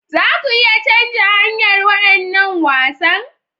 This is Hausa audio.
Za ku iya canza hanyar waɗannan wasan?